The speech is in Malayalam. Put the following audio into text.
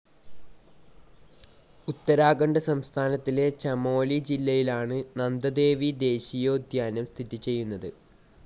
ഉത്തരാഖണ്ഡ് സംസ്ഥാനത്തിലെ ചമോലി ജില്ലയിലാണ് നന്ദദേവി ദേശീയോദ്യാനം സ്ഥിതി ചെയ്യുന്നത്